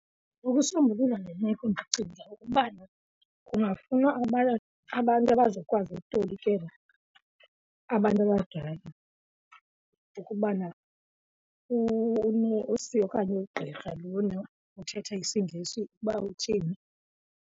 Ukusombulula le meko ndicinga ukubana kungafunwa abantu abazokwazi okutolikela abantu abadala ukubana unesi okanye ugqirha lona uthetha isiNgesi ukuba uthini.